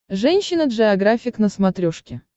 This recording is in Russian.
женщина джеографик на смотрешке